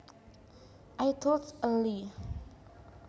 I told a lie